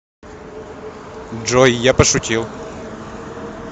джой я пошутил